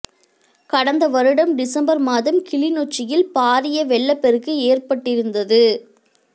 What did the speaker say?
கடந்த வருடம் டிசம்பர் மாதம் கிளிநொச்சியில் பாரிய வெள்ளப்பெருக்கு ஏற்பட்டிருந்தது